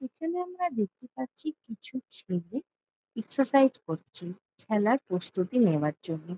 এখানে আমরা দেখতে পাচ্ছি কিছু ছেলে এক্সারসাইজ করছে খেলার প্রস্তুতি নেওয়ার জন্যে।